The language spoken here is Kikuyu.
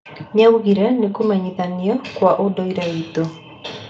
Nĩaugire nĩ kũmenyithanio gwa ũndũire witũ.